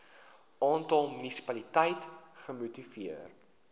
aantal munisipaliteite gemoniteer